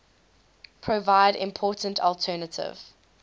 provide important alternative